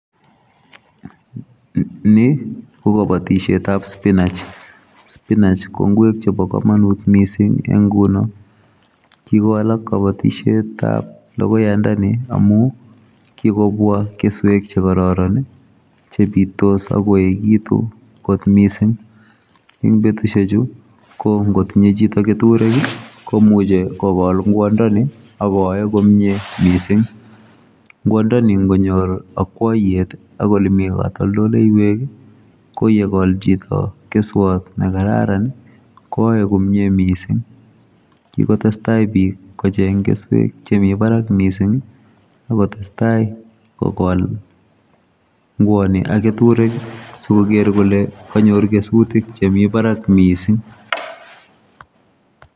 Ni ko kabatisyeet ab spineech ko ngweek chebo kamanut missing en ngunoo, kikowalak kabatisyeet ab logoyoyaandani amuun kikobwaa kesuek che kororon ii che bitos ak koegituun koot missing eng betusiek chuu ko ngoo tinye chitoo ketureek ii komuchei kogol ingwandani ako yae komyei missing ngwaan ndeni ingonyoor akwayendeed akonyoor ole Mii katoltoleiweek ii ko ye kol chitoo keswaat ne karaan koyae komyei missing kikotestai biik kocheng kesuek che Mii barak missing ii akoot tesetai ko kol ngwaan ni ak ketureek ii sikoger kole manyoor kesutiik che Mii Barak missing.